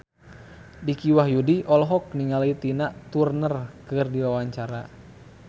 Dicky Wahyudi olohok ningali Tina Turner keur diwawancara